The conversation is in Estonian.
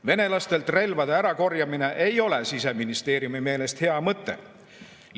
Venelastelt relvade ärakorjamine ei ole Siseministeeriumi meelest hea mõte.